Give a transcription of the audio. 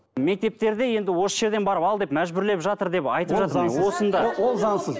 мектептерде енді осы жерден барып ал деп мәжбүрлеп жатыр деп айтып жатыр ол заңсыз